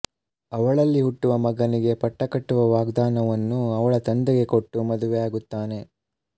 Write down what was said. ಅವಳಲ್ಲಿ ಹುಟ್ಟುವ ಮಗನಿಗೆ ಪಟ್ಟಕಟ್ಟುವ ವಾಗ್ದಾನವನ್ನು ಅವಳ ತಂದೆಗೆ ಕೊಟ್ಟು ಮದುವೆ ಆಗುತ್ತಾನೆ